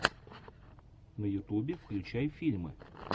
на ютубе включай фильмы